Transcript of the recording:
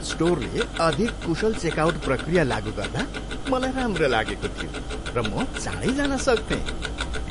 स्टोरले अधिक कुशल चेकआउट प्रक्रिया लागु गर्दा म राम्रो लागेको थियो, र म चाँडै जान सक्थेँ।